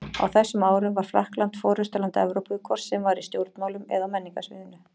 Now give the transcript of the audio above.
Á þessum árum var Frakkland forystuland Evrópu, hvort sem var í stjórnmálum eða á menningarsviðinu.